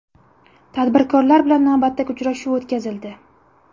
Tadbirkorlar bilan navbatdagi uchrashuv o‘tkazildi.